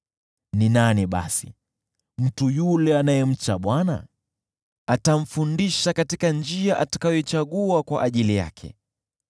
Ni nani basi, mtu yule anayemcha Bwana ? Atamfundisha katika njia atakayoichagua kwa ajili yake.